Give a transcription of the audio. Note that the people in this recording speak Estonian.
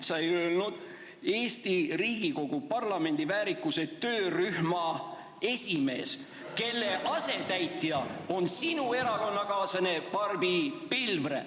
" Sa ei öelnud: "Eesti Riigikogu parlamendiväärikuse töörühma esimees, kelle asetäitja on minu erakonnakaaslane Barbi Pilvre.